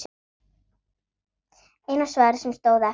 Eina svarið sem stóð eftir.